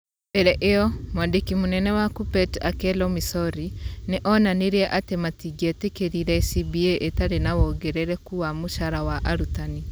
Mbere ĩyo, mwandiki mũnene wa Kuppet Akello Misori nĩ onanirie atĩ matingĩetĩkĩrire CBA ĩtarĩ na wongerereku wa mũcara wa arutani.